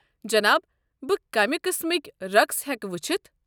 جناب، بہٕ کمہِ قسمٕکۍ رقس ہٮ۪كہٕ وٕچھِتھ؟